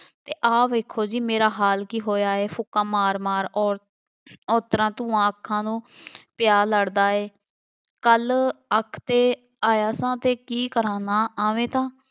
ਆਹ ਵੇਖੋ ਜੀ ਮੇਰਾ ਹਾਲ ਕੀ ਹੋਇਆ ਹੈ, ਫੂਕਾਂ ਮਾਰ ਮਾਰ ਅੋਰ~ ਅੋਂਤਰਾਂ ਧੂੰਆਂ ਅੱਖਾਂ ਨੂੰ ਪਿਆ ਲੜ੍ਹਦਾ ਏ, ਕੱਲ ਅੱਖ 'ਤੇ ਆਇਆ ਸਾਂ ਅਤੇ ਕੀ ਕਰਾਂ ਨਾ ਆਵੇ ਤਾਂ